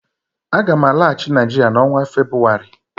Aga m alaghachi Naijiria n' onwa Febrụwarị